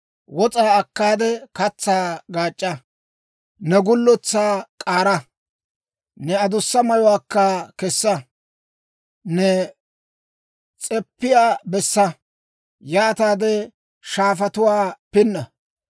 Wos'aa akkaade katsaa gaac'c'a. Ne gulletsaa k'aara; ne adussa mayuwaakka kessa. Ne s'eppiyaa bessa; yaataade shaafatuwaa pinna.